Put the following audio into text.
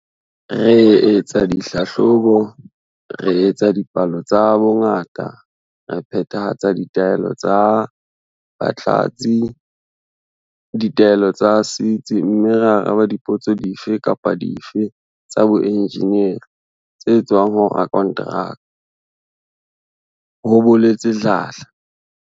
"Re etsa ditlhahlobo, re etsa dipalo tsa bongata, re phethahatsa ditaelo tsa batlatsi, ditaelo tsa setsi mme re araba dipotso dife kapa dife tsa boenjeneri tse tswang ho rakonteraka," ho boletse Dladla.